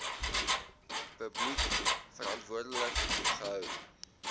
publiek verantwoordelik gehou